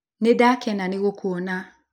Nĩndakena nĩgũkuona